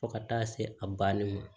Fo ka taa se a banni ma